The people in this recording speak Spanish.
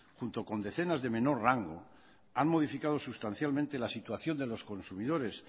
junto con decenas de menor rango han modificado sustancialmente la situación de los consumidores